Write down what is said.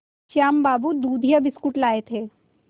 श्याम बाबू दूधिया बिस्कुट लाए थे